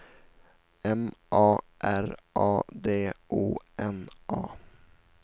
M A R A D O N A